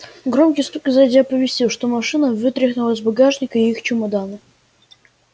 громкий стук сзади оповестил что машина вытряхнула из багажника и их чемоданы